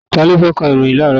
Ta ló fẹ́ ka ìròhìn láàrọ́ yìí?